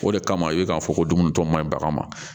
O de kama i bɛ k'a fɔ ko dumuni tɔ man ɲi bagan ma